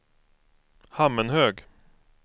Hammenhög